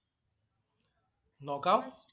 Nagaon.